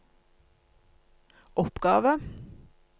oppgave